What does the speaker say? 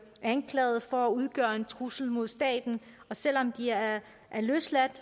anklaget for at udgøre en trussel mod staten og selv om de er løsladt